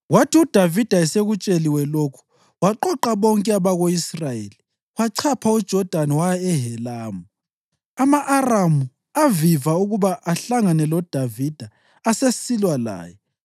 Kwathi uDavida esekutsheliwe lokhu, waqoqa bonke abako-Israyeli, wachapha uJodani waya eHelamu. Ama-Aramu aviva ukuba ahlangane loDavida asesilwa laye.